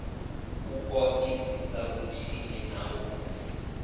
u ṱoḓisisa vhutshinyi na u